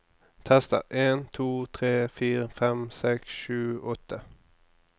Tester en to tre fire fem seks sju åtte